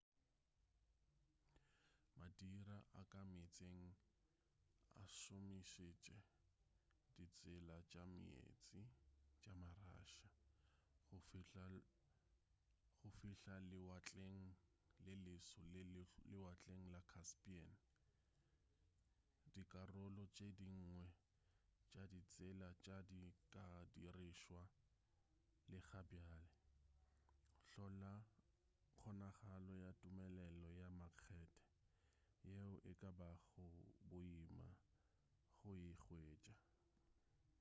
madira a ka meetseng a šomišitše ditsela tša meetse tša ma-russia go fihla lewatleng le leso le lewatleng la caspain dikarolo tše dingwe tša ditsela tše di ka dirišwa le ga bjale hlola kgonagalo ya tumelelo ya makgehte yeo e ka bago boima go e hwetša